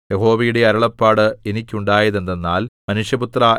യഹോവയുടെ അരുളപ്പാട് എനിക്കുണ്ടായതെന്തെന്നാൽ മനുഷ്യപുത്രാ